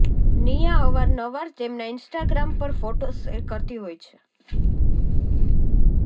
નીયા અવારનવાર તેમના ઇન્સટાગ્રામ પર ફોટોઝ શેર કરતી હોય છે